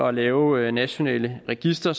at lave nationale registre